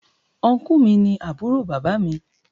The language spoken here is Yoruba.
Ọnkú mi ni àbúrò bàbá mi.